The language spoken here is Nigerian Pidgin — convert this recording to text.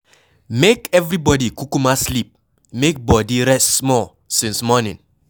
Make everybody kukuma sleep, make body rest small since morning.